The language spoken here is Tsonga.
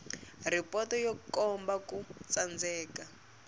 ripoto yo komba ku tsandzeka